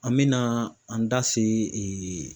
An mɛna an da se